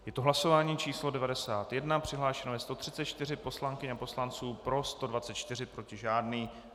Je to hlasování číslo 91, přihlášeno je 134 poslankyň a poslanců, pro 124, proti žádný.